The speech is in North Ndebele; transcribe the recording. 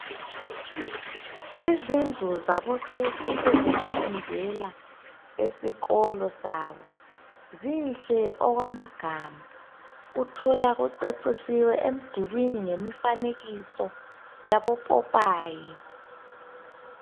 Izindlu zabokhekhe ezokufundela esikolo sabo, zinhle okwamagama uthola kucecisiwe emdulwini ngemifanekiso yabopopayi .